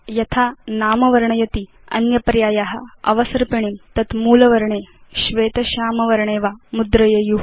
यथा नाम वर्णयति अन्य पर्याया अवसर्पिणीं तत् मूल वर्णे श्वेत श्याम वर्णे वा मुद्रयेयु